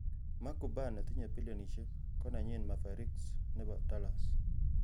Mark Cuban netinye bilionisiek, konenyin Mavericks nebo Dallas.